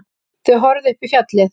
Þau horfðu upp í fjallið.